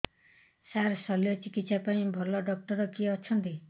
ସାର ଶଲ୍ୟଚିକିତ୍ସା ପାଇଁ ଭଲ ଡକ୍ଟର କିଏ ଅଛନ୍ତି